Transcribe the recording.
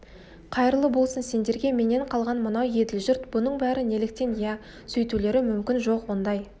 қайырлы болсын сендерге менен қалған мынау еділ жұрт бұның бәрі неліктен иә сөйтулері мүмкін жоқ ондай